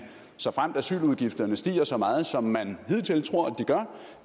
såfremt asyludgifterne stiger så meget som man hidtil